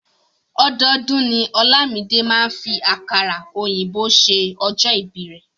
Ọdọọdún ni Olamide máa ń fi àkàrà òyìnbó ṣe ọjọ́ ìbíi rẹ̀.